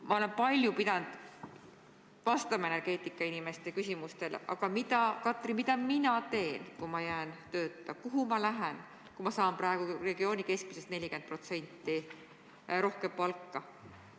Ma olen palju pidanud vastama energeetikainimeste küsimustele – aga, Katri, mida mina siis teen, kui ma jään tööta, kuhu ma lähen, kui saan praegu regiooni keskmisest 40% rohkem palka?